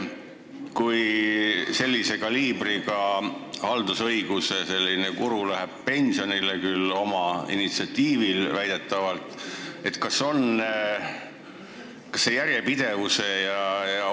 Kui sellise kaliibriga haldusõiguse guru läheb pensionile – väidetavalt küll omal initsiatiivil –, siis kas on tagatud järjepidevus?